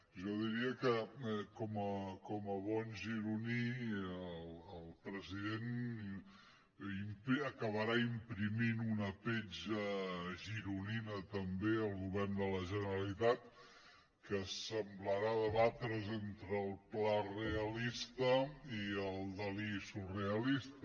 jo diria que com a bon gironí el president acabarà imprimint una petja gironina també al govern de la generalitat que semblarà debatre’s entre el pla realista i el dalí surrealista